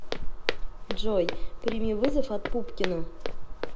джой прими вызов от пупкина